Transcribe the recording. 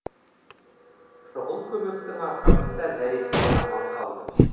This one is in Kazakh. шұғыл көмектің арқасында нәресте аман қалды